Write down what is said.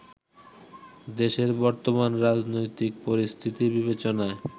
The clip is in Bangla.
দেশের বর্তমান রাজনৈতিক পরিস্থিতি বিবেচনায়